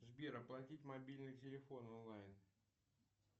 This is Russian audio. сбер оплатить мобильный телефон онлайн